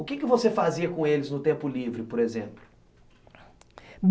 O que você fazia com eles no tempo livre, por exemplo?